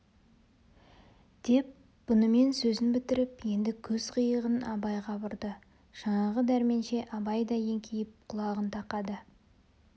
деп бұнымен сөзін бітіріп енді көз қиығын абайға бұрды жаңағы дәрменше абай да еңкейіп құлағын тақады